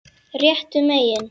Réttu megin?